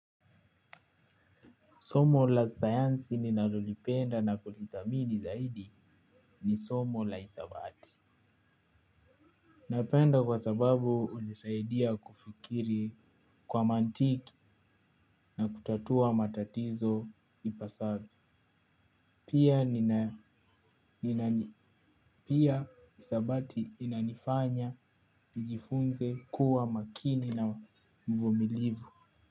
Somo la sayansi ninalolipenda na kulithamini zaidi ni somo la hisabati. Napenda kwa sababu hunisaidia kufikiri kwa mantiki na kutatua matatizo hipasavyo. Pia hisabati inanifanya nijifunze kuwa makini na mvumilivu.